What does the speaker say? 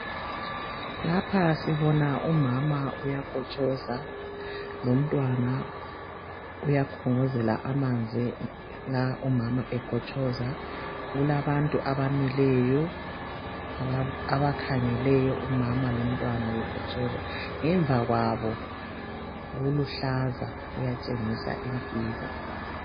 Lapha sibona umama uyakotshoza lomntwana uyakhongozela amanzi nxa umama ekotshoza kulabantu abamileyo abakhangeleyo umama lomntwana bekotshoza ngemva kwabo kuluhlaza kuyatshengisa impilo